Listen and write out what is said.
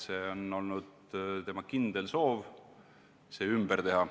See on olnud tema kindel soov see ümber teha.